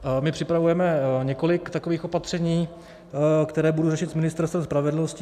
My připravujeme několik takových opatření, která budu řešit s Ministerstvem spravedlnosti.